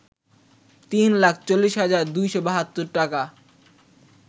৩ লাখ ৪০ হাজার ২৭২ টাকা